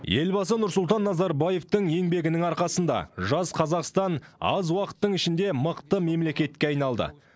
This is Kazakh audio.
елбасы нұрсұлтан назарбаевтың еңбегінің арқасында жас қазақстан аз уақыттың ішінде мықты мемлекетке айналды